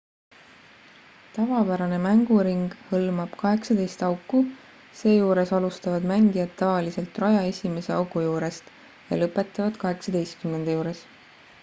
tavapärane mänguring hõlmab 18 auku seejuures alustavad mängijad tavaliselt raja esimese augu juurest ja lõpetavad 18 juures